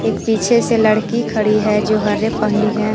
एक पीछे से लड़की खड़ी है जो हरे पहनी है।